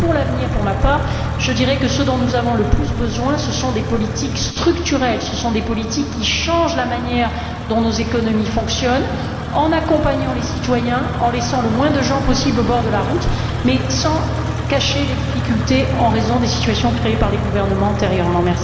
Pour l'avenir, je dirai pour ma part que ce dont nous avons le plus besoin, ce sont de politiques structurelles, ce sont de politiques qui changent la manière dont nos économies fonctionnent, en accompagnant les citoyens, en laissant le moins de gens possible sur le bord de la route, mais sans cacher les difficultés en raison des situations créées par les gouvernements antérieurement.